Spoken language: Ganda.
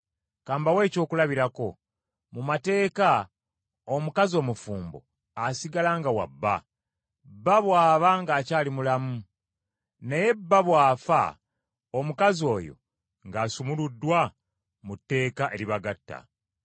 Ka mbawe ekyokulabirako: mu mateeka omukazi omufumbo, asigala nga wa bba, bba bw’aba ng’akyali mulamu. Naye bba bw’afa, omukazi oyo ng’asumuluddwa mu tteeka eribagatta.